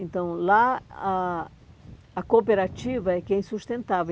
Então, lá, a a cooperativa é quem sustentava.